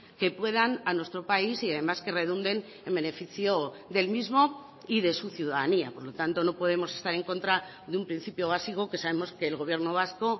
que puedan a nuestro país y además que redunden en beneficio del mismo y de su ciudadanía por lo tanto no podemos estar en contra de un principio básico que sabemos que el gobierno vasco